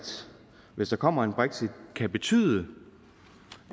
hvis der kommer en brexit kan betyde